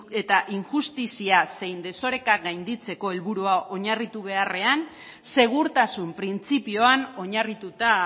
eta injustizia zein desorekak gainditzeko helburu hau oinarritu beharrean segurtasun printzipioan oinarrituta